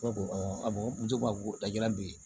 awɔ a bɔ muso la ja don